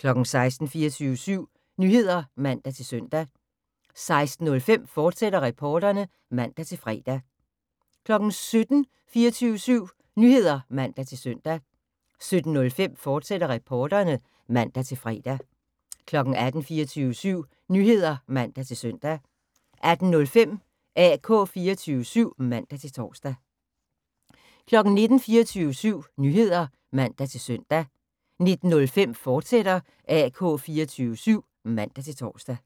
16:00: 24syv Nyheder (man-søn) 16:05: Reporterne, fortsat (man-fre) 17:00: 24syv Nyheder (man-søn) 17:05: Reporterne, fortsat (man-fre) 18:00: 24syv Nyheder (man-søn) 18:05: AK 24syv (man-tor) 19:00: 24syv Nyheder (man-søn) 19:05: AK 24syv, fortsat (man-tor)